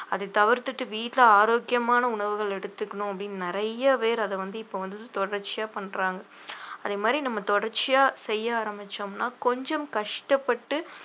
அதை தவிர்த்துட்டு வீட்டுல ஆரோக்கியமான உணவுகள் எடுத்துக்கணும் அப்படின்னு நிறைய பேர் அதை வந்து இப்ப வந்து தொடர்ச்சியா பண்றாங்க அதே மாதிரி நம்ம தொடர்ச்சியா செய்ய ஆரம்பிச்சோம்னா கொஞ்சம் கஷ்டப்பட்டு